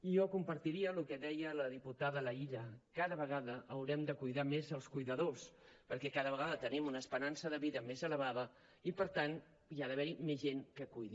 i jo compartiria el que deia la diputada laïlla cada vegada haurem de cuidar més els cuidadors perquè cada vegada tenim una esperança de vida més elevada i per tant hi ha d’haver més gent que cuidi